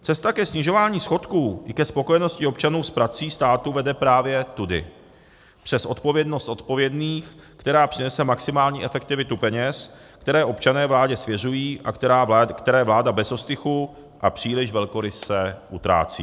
Cesta ke snižování schodku i ke spokojeností občanů s prací státu vede právě tudy, přes odpovědnost odpovědných, která přinese maximální efektivitu peněz, které občané vládě svěřují a které vláda bez ostychu a příliš velkoryse utrácí.